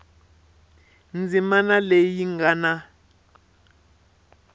ndzimana leyi yi nga na